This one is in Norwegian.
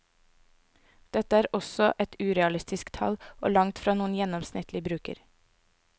Dette er også et urealistisk tall og langtfra noen gjennomsnittlig bruker.